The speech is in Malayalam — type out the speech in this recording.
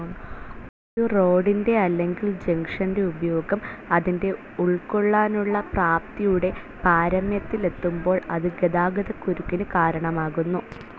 ഒരു റോഡിൻറെ അല്ലെകിൽ ജംഗ്ഷൻ്റെ ഉപയോഗം അതിൻ്റെ ഉൾക്കൊള്ളാനുള്ള പ്രാപ്തിയുടെ പാരമ്യത്തിലെത്തുബോൾ അത് ഗതാഗതക്കുരുക്കിന് കാരണമാകുന്നു.